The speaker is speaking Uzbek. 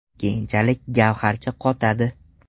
Keyinchalik gavharcha qotadi.